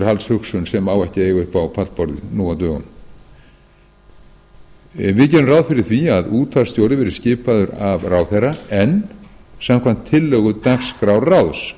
upp á pallborðið nú á dögum við gerum ráð fyrir því að útvarpsstjóri verði skipaður af ráðherra en samkvæmt tillögu dagskrárráðs